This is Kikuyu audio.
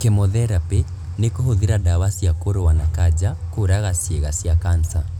kemotherapĩ ni kũhũthĩra ndawa cia kũrũa na kanja kũraga ciĩga cia kanca